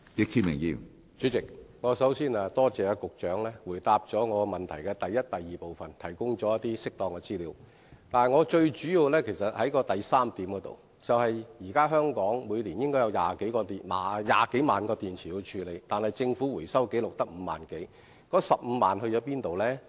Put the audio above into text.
主席，首先，我多謝局長回答我主體質詢的第一及二部分，並提供適當資料；但我最主要想問的是第三部分，即香港現時需要處理的電池每年應有20多萬枚，但政府的回收紀錄卻只有5萬多枚，那麼餘下的15萬枚往哪裏去了？